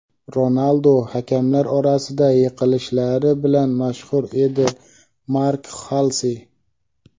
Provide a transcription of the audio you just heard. Ronaldu hakamlar orasida yiqilishlari bilan mashhur edi – Mark Xalsi.